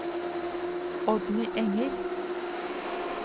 Oddny Enger